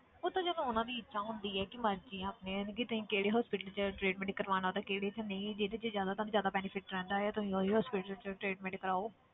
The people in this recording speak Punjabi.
ਉਹ ਤਾਂ ਚੱਲ ਉਹਨਾਂ ਦੀ ਇੱਛਾ ਹੁੰਦੀ ਹੈ ਕਿ ਮਰਜ਼ੀ ਆਪਣੀ ਕਿ ਤੁਸੀਂ ਕਿਹੜੇ hospital 'ਚ treatment ਕਰਵਾਉਣਾ ਤੇ ਕਿਹੜੇ 'ਚ ਨਹੀਂ, ਜਿਹਦੇ 'ਚ ਜ਼ਿਆਦਾ ਤੁਹਾਨੂੰ ਜ਼ਿਆਦਾ benefit ਰਹਿੰਦਾ ਹੈ ਤੁਸੀਂ ਉਹੀ hospital 'ਚ treatment ਕਰਵਾਓ